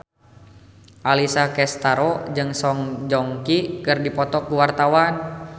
Alessia Cestaro jeung Song Joong Ki keur dipoto ku wartawan